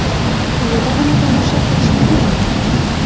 Quyida uni tomosha qilishingiz mumkin.